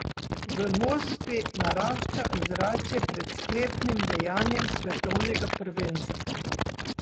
V Moskvi narašča ozračje pred sklepnim dejanjem svetovnega prvenstva.